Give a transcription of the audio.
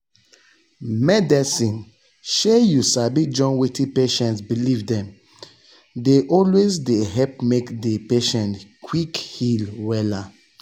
medicine shey you sabi join wetin patient believe dem dey always dey help make di patient quick heal wella.